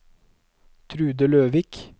Trude Løvik